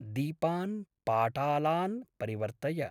दीपान् पाटलान् परिवर्तय।